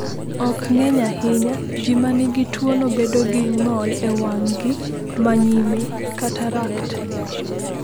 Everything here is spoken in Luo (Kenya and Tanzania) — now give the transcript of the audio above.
Ok ng’eny ahinya, ji ma nigi tuwono bedo gi ng’ol e wang’gi ma nyime (katarakt).